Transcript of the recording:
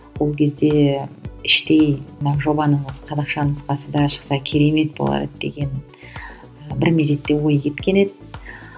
ол кезде іштей мына жобаның осы қазақша нұсқасы да шықса керемет болар еді деген і бір мезетте ой кеткен еді